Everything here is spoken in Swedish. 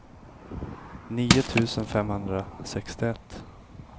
nio tusen femhundrasextioett